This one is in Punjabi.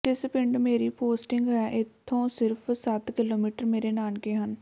ਜਿਸ ਪਿੰਡ ਮੇਰੀ ਪੋਸਟਿੰਗ ਹੈ ਇੱਥੋਂ ਸਿਰਫ਼ ਸੱਤ ਕਿਲੋਮੀਟਰ ਮੇਰੇ ਨਾਨਕੇ ਹਨ